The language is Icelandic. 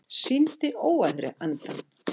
Sýndi óæðri endann